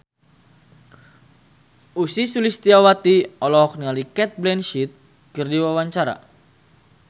Ussy Sulistyawati olohok ningali Cate Blanchett keur diwawancara